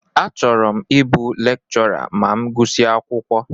Achọrọ m ịbụ lekchọra ma m gusia akwụkwọ.